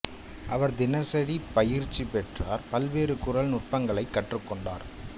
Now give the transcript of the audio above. அவர் தினசரி பயிற்சி பெற்றார் பல்வேறு குரல் நுட்பங்களைக் கற்றுக்கொண்டார்